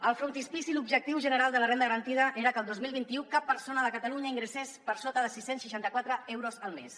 al frontispici l’objectiu general de la renda garantida era que el dos mil vint u cap persona de catalunya ingressés per sota de sis cents i seixanta quatre euros al mes